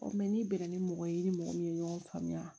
n'i bɛnna ni mɔgɔ ye i ni mɔgɔ min ye ɲɔgɔn faamuya